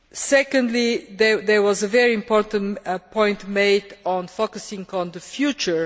Secondly, there was a very important point made on focusing on the future.